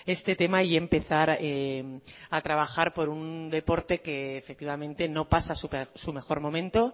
este tema y empezar a trabajar por un deporte que efectivamente no pasa su mejor momento